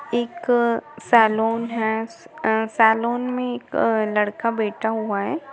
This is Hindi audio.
एक सैलून है सैलून में एक लड़का बैठा हुआ है।